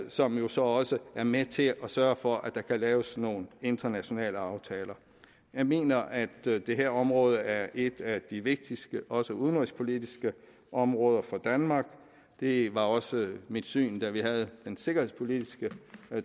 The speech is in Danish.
som jo så også er med til at sørge for at der kan laves nogle internationale aftaler jeg mener at det her område er et af de vigtigste også udenrigspolitisk områder for danmark det var også mit syn da vi havde den sikkerhedspolitiske